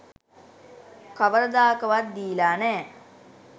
කවරදාකවත් දීලා නෑ.